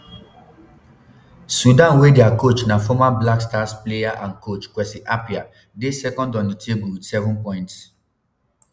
sudan wey dia coach na former blackstars player and coach kwesi appiah dey second on di table wit 7 points.